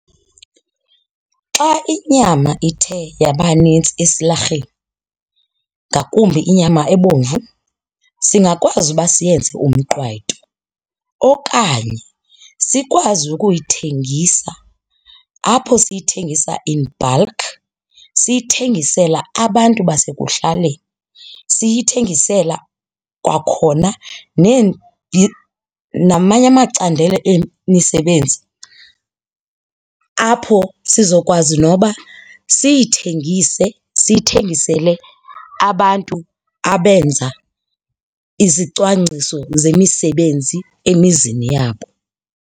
Xa inyama ithe yabanintsi esilarheni ngakumbi inyama ebomvu singakwazi uba siyenze umqwayito okanye sikwazi ukuyithengisa apho siyithengisa in bulk siyithengisela abantu basekuhlaleni, siyithengisela kwakhona namanye amacandelo emisebenzi apho sizokwazi noba siyithengise, siyithengisele abantu abenza izicwangciso zemisebenzi emizini yabo.